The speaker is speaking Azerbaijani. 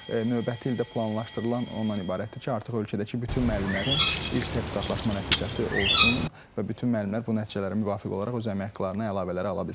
Növbəti ildə planlaşdırılan ondan ibarətdir ki, artıq ölkədəki bütün müəllimlərin ilk sertifikatlaşma nəticəsi olsun və bütün müəllimlər bu nəticələrə müvafiq olaraq öz əmək haqqlarına əlavələr ala bilsinlər.